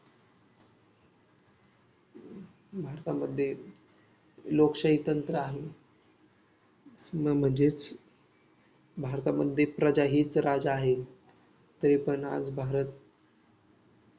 भारतामध्ये लोकशाही तंत्र आहे हम्म म्हणजेच भारतमध्ये प्रजा हीच राजा आहे तरी पण आज भारत